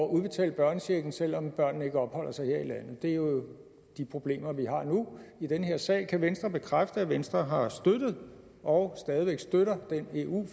udbetale børnechecken selv om børnene ikke opholder sig her i landet det er jo de problemer vi har nu i den her sag kan venstre bekræfte at venstre har støttet og stadig væk støtter den eu